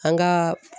An ka